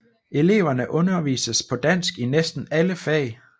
Eleverne undervises på dansk i næsten alle fag